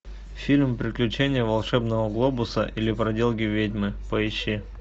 фильм приключения волшебного глобуса или проделки ведьмы поищи